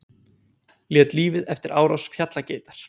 Lét lífið eftir árás fjallageitar